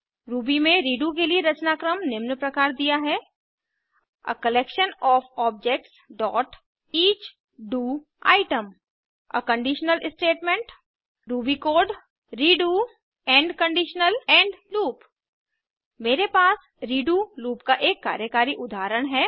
Ruby में redo के लिए रचनाक्रम निम्न प्रकार दिया है160 आ कलेक्शन ओएफ objectsईच do item a conditional statement Ruby code redo end conditional end loop मेरे पास रेडो लूप का एक कार्यकारी उदहारण है